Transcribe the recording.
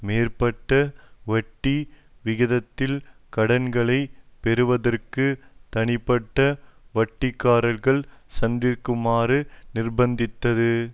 மேற்பட்ட வட்டி விகிதத்தில் கடன்களை பெறறுவதற்கு தனிப்பட்ட வட்டிகாரர்களை சார்ந்திருக்குமாறு நிர்பந்தித்தது